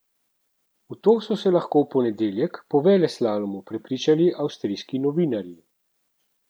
V to so se lahko v ponedeljek, po velelslalomu, prepričali avstrijski novinarji.